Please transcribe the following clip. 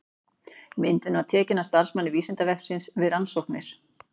Myndin var tekin af starfsmanni Vísindavefsins við rannsóknir.